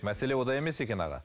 мәселе онда емес екен аға